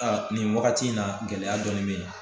nin wagati in na gɛlɛya dɔɔnin bɛ yen